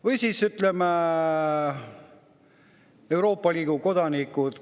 Või siis, ütleme, Euroopa Liidu kodanikud.